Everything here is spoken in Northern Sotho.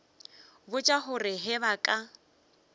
botša gore ge ba ka